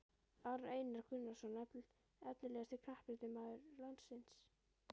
Aron Einar Gunnarsson Efnilegasti knattspyrnumaður landsins?